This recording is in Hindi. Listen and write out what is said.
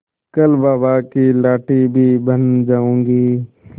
कल बाबा की लाठी भी बन जाऊंगी